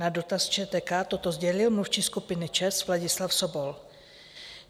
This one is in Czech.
Na dotaz ČTK toto sdělil mluvčí skupiny ČEZ Vladislav Sobol.